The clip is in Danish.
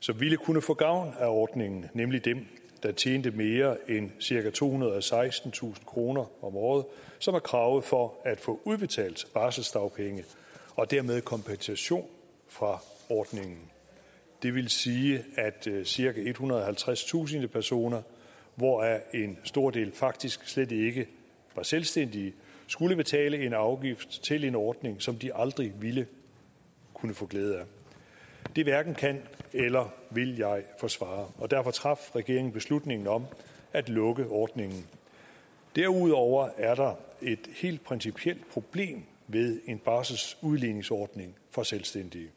som ville kunne få gavn af ordningen nemlig dem der tjente mere end cirka tohundrede og sekstentusind kroner om året som er kravet for at få udbetalt barselsdagpenge og dermed kompensation fra ordningen det vil sige at cirka ethundrede og halvtredstusind personer hvoraf en stor del faktisk slet ikke var selvstændige skulle betale en afgift til en ordning som de aldrig ville kunne få glæde af det hverken kan eller vil jeg forsvare og derfor traf regeringen beslutningen om at lukke ordningen derudover er der et helt principielt problem ved en barselsudligningsordning for selvstændige